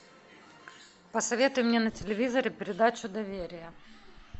посоветуй мне на телевизоре передачу доверие